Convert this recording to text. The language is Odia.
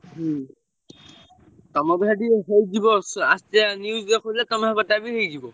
ହୁଁ। ତମ ବୋଧେ ସେଠି ହେଇଯିବ ଆସିଥିଲା news ଦେଖଉଥିଲା ତମ ସେପଟଟା ବି ହେଇଯିବ।